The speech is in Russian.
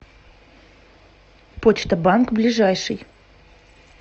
почта банк ближайший